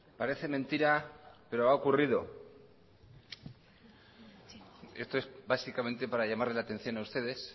parece mentira pero ha ocurrido esto es básicamente para llamarles la atención a ustedes